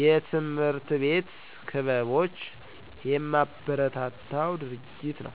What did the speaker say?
የትምህርት ቤት ክበቦች የማበረታው ድርጊት ነው